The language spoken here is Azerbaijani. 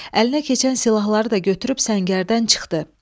Əlinə keçən silahları da götürüb səngərdən çıxdı.